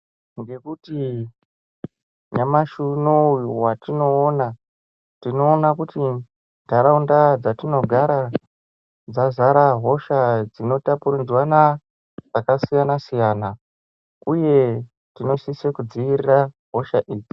Ngekuti nyamashi unowu watinoona tinoone kuti nharaunda dzatinogara dzazara hosha dzinotapuridzwana dzakasiyanasiyana uye tinosise kudziirira hosha idzi.